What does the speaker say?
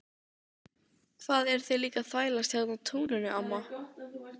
Hvað eruð þið líka að þvælast hérna á túninu amma?